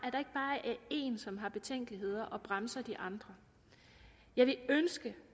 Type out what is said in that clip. at én som har betænkeligheder og bremser de andre jeg ville ønske